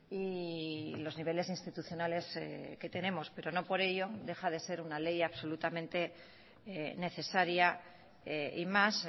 y los niveles institucionales que tenemos pero no por ello deja de ser una ley absolutamente necesaria y más